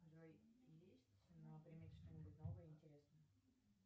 джой есть на примете что нибудь новое и интересное